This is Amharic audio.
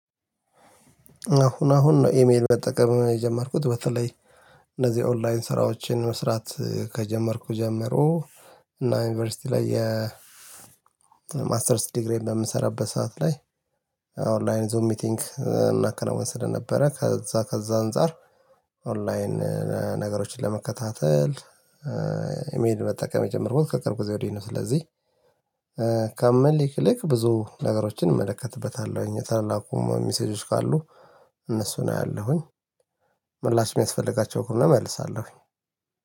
አሁን አሁን ነው ኢሜል መጠቀም የጀመርኩት በተለይ እነዚህ ኦንላይን ስራዎችን መስራት ከጀመርኩ ጀምሮ እና ዩኒቨርሲቲ ላይ የማስተርስ ዲግሪዬን በምሰራበት ሰዓት ላይ ኦንላይን ዙም ሚቲንግ እናከናውን ስለነበረ ከዛ ከዛ አንፃር ኦንላይን ነገሮችን ለመከታተል ኢሜል መጠቀም የጀመርኩት ከቅርብ ጊዜ ወዲህ ነው። ስለዚህ ከመልክልክ ብዙ ነገሮችን እመለከትበታለሁኝ የተላኩም ሚሴጆች ካሉ እነሱን አያለሁኝ። ምላሽ የሚያስፈልጋቸው ከሆነ እመልሳለሁኝ።